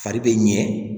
Fari bɛ ɲɛ